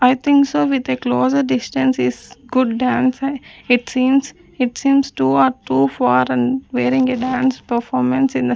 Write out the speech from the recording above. i think so with a closed distance is good dance it seems it seems two or two foreign wearing a dance performance in a --